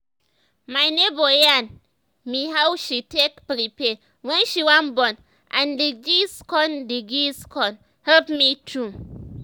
my neighbor yarn me how she take prepare wen she wan born and d gist con d gist con help me too